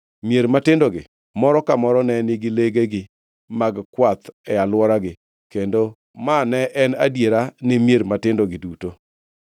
Mier matindogi moro ka moro ne nigi legegi mag kwath e alworagi, kendo ma ne en adiera ne mier matindogi duto.